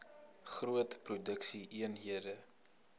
groot produksie eenhede